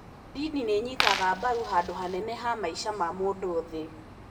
Ndini nĩ ĩnyitaga mbaru handũ hanene he maica ma mũndũ nthĩ.